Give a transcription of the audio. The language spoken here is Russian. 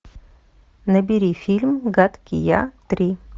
набери фильм гадкий я три